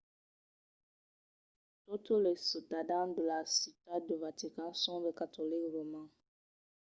totes los ciutadans de la ciutat de vatican son de catolics romans